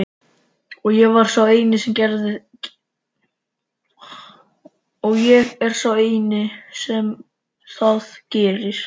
Og ég er sá eini sem það gerir.